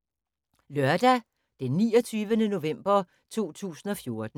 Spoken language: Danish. Lørdag d. 29. november 2014